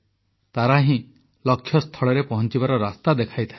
ତାରା ହିଁ ଲକ୍ଷ୍ୟସ୍ଥଳରେ ପହଂଚିବାର ରାସ୍ତା ଦେଖାଇଥାଏ